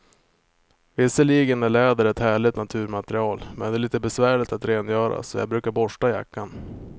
Visserligen är läder ett härligt naturmaterial, men det är lite besvärligt att rengöra, så jag brukar borsta jackan.